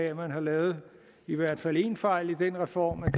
at man har lavet i hvert fald én fejl i reformen